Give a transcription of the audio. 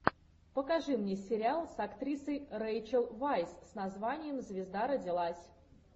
покажи мне сериал с актрисой рейчел вайс с названием звезда родилась